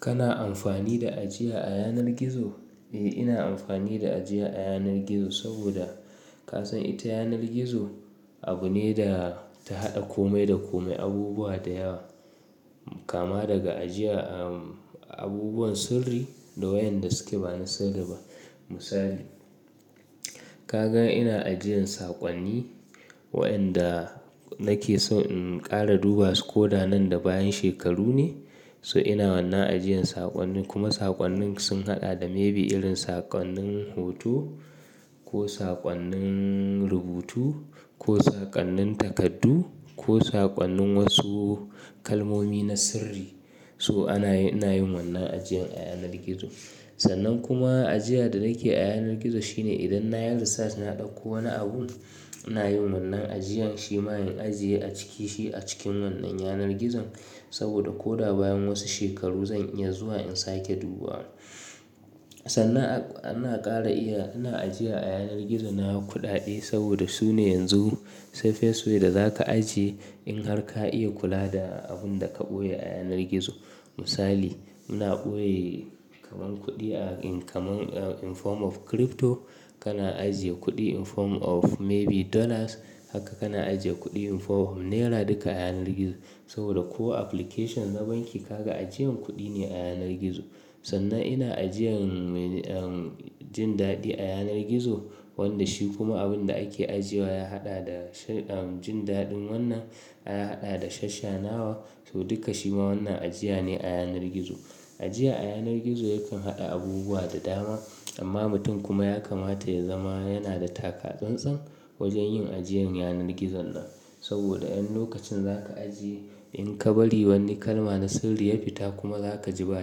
Kana amfani da ajiya a yanar gizo? Eh, ina amfani da ajiya a yanar gizo saboda ka san ita yanar gizo abu ne da ta haɗa kome da kome, abubuwa da yawa kama daga ajiya, abubuwan sirri da wayanda suke bana sirri ba. Misali, ka gan ina ajiyan saƙonni wayanda nake son in ƙara duba su ko da nan da bayan shekaru ne, so ina wannan ajiyan saƙonni kuma saƙonnin sun haɗa da maybe irin saƙonnin hoto ko saƙonnin rubutu ko saƙonnin takardu ko saƙonnin wasu kalmomi na sirri. To ana yin, ina yin wannan ajiyar a yanar gizo. Sannan kuma ajiya da nake a yanar gizo shine idan na yi research na ɗauko wani abu, ina yin wannan ajiyan shi mayen ajiye a ciki shi a cikin wannan yanar gizon saboda ko da bayan wasu shekaru zan iya zuwa in sake duba. Sannan ana ƙara iya, ana ajiya a yanar gizo na kuɗaɗe saboda su ne yanzu safes way da za ka ajiye in har ka iya kula da abun da ka ɓoye a yanar gizo. Misali, ina ɓoye kaman kuɗi a in kaman in form of crypto, kana ajiye kuɗi in form of maybe dollars, haka kana ajiye kuɗi in form of naira duka a yanar gizo saboda ko application na banki ka ga ajiyan kuɗi ne a yanar gizo. Sannan ina ajiyan jin daɗi a yanar gizo wanda shi kuma abun da ake ajiye wa ya haɗa da um, jin daɗin wannan aka haɗa da shashanawa. So duka shi ma wannan ajiya ne a yanar gizo. Ajiya a yanar gizo yakan haɗa abubuwa da dama amma mutum kuma ya kamata ya zama yana da taka tsantsan wajen yin ajiyan yanar gizon nan saboda in lokacin za ka ajiye in ka bari wani kalma na sirri ya fita kuma za ka ji ba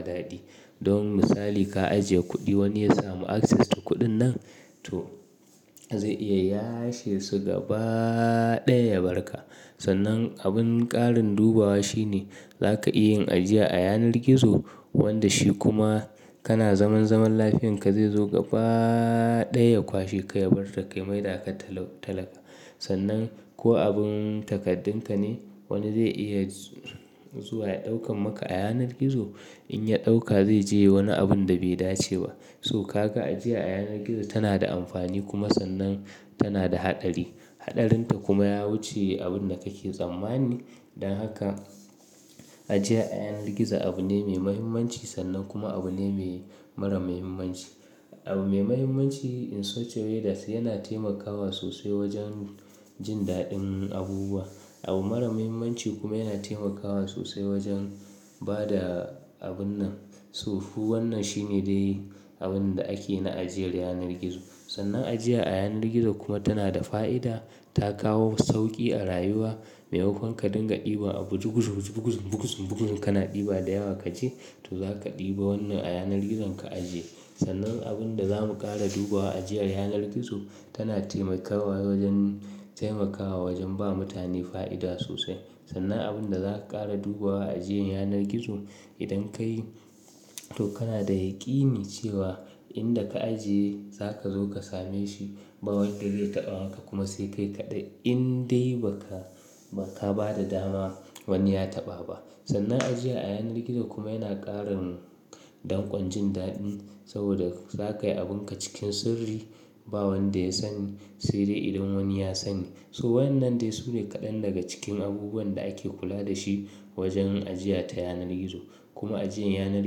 daɗi. Don misali, ka ajiye kuɗi wani ya samu access to kuɗin nan to zai iya yashe su gaba ɗaya ya barka. Sannan abun ƙarin dubawa shi ne za ka iya yin ajiya a yanar gizo wanda shi kuma kana zaman zaman lafiyanka zai zo gaba ɗaya ya kwashi ka, ya barke mai da aka talaka. Sannan ko abun takardun ka ne wani zai iya zuwa ya ɗaukar maka a yanar gizo. In ya ɗauka zai je wani abun da bai dace ba. So ka ga ajiya a yanar gizo tana da amfani kuma sannan tana da haɗari. Haɗarinta kuma ya wuce abun da kake tsammani don haka ajiya a yanar gizo abu ne mai mahimmanci sannan kuma abu ne mai mara mahimmanci. Abu mai mahimmanci in such a way that yana taimakawa sosai wajen jin daɗin abubuwa. Abu mara mahimmanci kuma yana taimakawa sosai wajen ba da abun nan. So wannan shi ne dai abun da ake na ajiyar yanar gizo. Sannan ajiya a yanar gizo kuma tana da fa'ida, ta kawo sauƙi a rayuwa. Mai makon ka dinga ɗiba a buguzuguzugu buguzum buguzum buguzum kana ɗiba da yawa kaji to za ka ɗiba wannan a yanar gizon ka ajiye. Sannan abun da za mu ƙara dubawa ajiyar yanar gizo tana taimakawa wajen taimakawa wajen ba mutane fa'ida sosai. Sannan abun da za ka ƙara dubawa ajiyan yanar gizo idan ka yi to kana da yikini cewa inda ka ajiye za ka zo ka same shi. Ba wanda zai taɓa maka kuma sai kai kaɗai in dai ba ka, ba ka ba da dama wani ya taɓa ba. Sannan ajiya a yanar gizo kuma yana ƙarin danƙon jin daɗin saboda za ka yi abunka cikin sirri. Ba wanda ya sani sai dai idan wani ya sani. So wayannan dai su ne kaɗan daga cikin abubuwan da ake kula da shi wajen ajiya ta yanar gizo. Kuma ajiyan yanar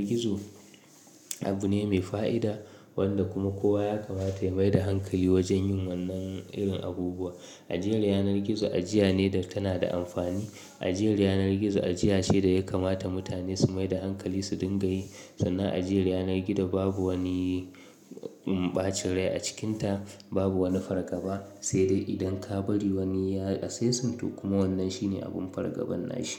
gizo abu ne mai fa'ida wanda kuma kowa ya kamata ya mai da hankali wajen yin wannan irin abubuwa. Ajiyar yanar gizo ajiya ne da tana da amfani. Ajiyar yanar gizo ajiya ce da ya kamata mutane su mai da hankali su dinga yi. Sannan ajiyar yanar gizo babu wani ɓacin rai a cikinta, babu wani fargaba sai dai idan ka bari wani ya access to kuma wannan shi ne abin fargaban nashi.